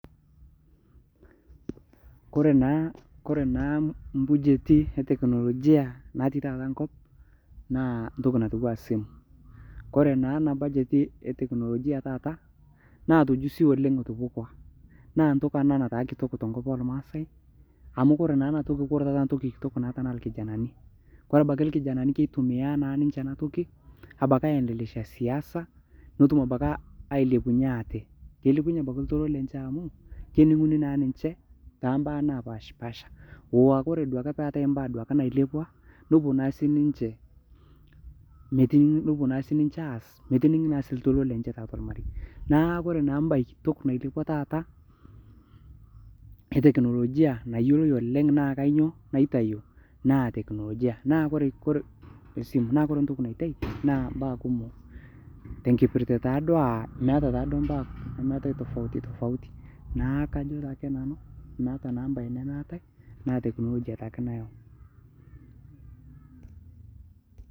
kore naa kore naa mbujetii eteknologia natii taata nkop naa ntoki natuwaa simu kore naa ana bujeti eteknologia taata naa tejusi oleng etupukwaa naa ntoki anaa nataa kitok tenkop elmaasai amu kore naa ana toki natuppukua tenkop elmaasai amu kore naa ana toki naa kore ntoki kitok naa lkijanani kore abaki lkijanani naa keitumia naa ninshe ana toki abaki aendelesha siasa notum abaki ailepunye atee keilepunye abakii ltoilo lenshhe amu keninguni naa ninshe tambaa napashpasha ooh aakore duake peatai mbaa duake nailepwa nopuo naa sii ninshe metiningi nopuo naa sii ninshe aaz metiningi naa taatua lmarei naa kore naa mbai kitok nailepwa taata eteknologia nayoloi oleng naa kainyoo naitayuu naa teknologia naa kore ntoki naitai naa mbaa kumoo tenkipirtee taaduo aah meata taaduo mbaa tofautitofauti naaku kajo taake nanu meata naa mbai nemeatai naa teknologia taake nayau